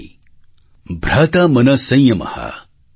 सत्यं सूनुरयं दया च भगिनी भ्राता मनः संयमः